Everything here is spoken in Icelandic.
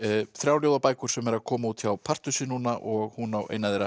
þrjár ljóðabækur sem eru að koma út hjá Partusi núna og hún á eina þeirra